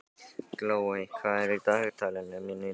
Glóey, hvað er í dagatalinu mínu í dag?